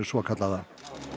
svokallaða